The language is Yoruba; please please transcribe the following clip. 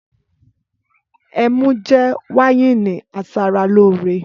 Ẹmú jẹ wàyínì àsàràlòrẹ.